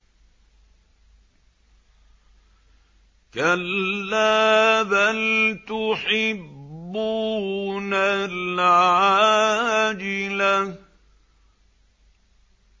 كَلَّا بَلْ تُحِبُّونَ الْعَاجِلَةَ